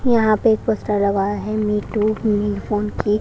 यहां पे एक पोस्टर लगा है मी टू फोन की --